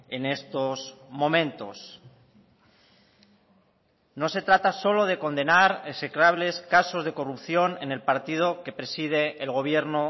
en estos momentos no se trata solo de condenar execrables casos de corrupción en el partido que preside el gobierno